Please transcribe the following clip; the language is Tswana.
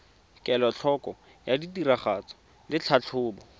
kelotlhoko ya tiragatso le tlhatlhobo